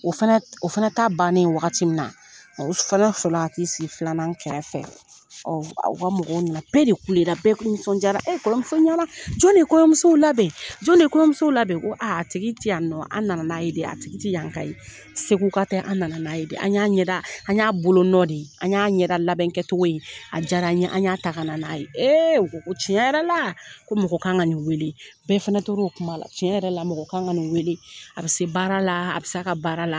O o fana ta bannen wagati min na, o fana sɔrɔla ka ti sigi filanan kɛrɛfɛ, u ka mɔgɔw nana, bɛɛ de kulela bɛɛ nisɔndiyara kɔɲɔmuso ɲɛna, jɔn de ye kɔɲɔmusow labɛn? jɔn de ye kɔɲɔmusow labɛn ? A tigi ti yan nɔ, an nana n'a ye de, a tigi ti yan ka ye, Segu ka tɛ, an nana n'a ye, an y'an ɲɛda an y'a bolonɔ de ye, an ɲa ɲɛdalabɛn kɛcogo ye, a diyara ɲe, an ɲa ta ka n'a ye, u ko ko tiɲɛ yɛrɛ la, ko mɔgɔ kan ka nin weele bɛɛ fana to o kuma la tiɲɛ yɛrɛ la mɔgɔ ka kan nin weele, bɛɛ fana tor'o kuma de la, cɛn yɛrɛ la mɔgɔ kan ka nin weele, a bi se ka baara la, a bi se a ka baara la.